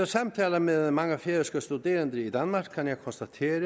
samtaler med mange færøske studerende i danmark kan jeg konstatere